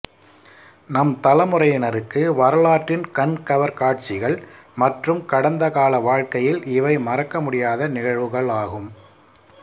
நம் தலைமுறையினருக்கு வரலாற்றின் கண்கவர் காட்சிகள் மற்றும் கடந்த கால வாழ்க்கையில் இவை மறக்கமுடியாத நிகழ்வுகள் ஆகும்